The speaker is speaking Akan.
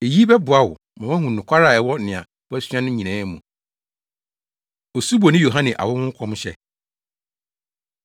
Eyi bɛboa wo ma woahu nokware a ɛwɔ nea woasua no nyinaa mu. Osuboni Yohane Awo Ho Nkɔmhyɛ